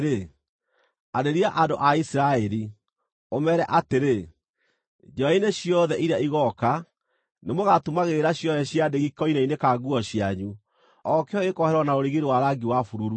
“Arĩria andũ a Isiraeli, ũmeere atĩrĩ: ‘Njiarwa-inĩ ciothe iria igooka, nĩmũgatumagĩrĩra ciohe cia ndigi koine-inĩ ka nguo cianyu, o kĩohe gĩkohererwo na rũrigi rwa rangi wa bururu.